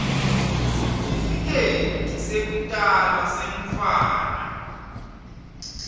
sitifiketi sekutalwa semntfwana